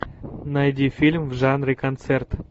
найди фильм в жанре концерт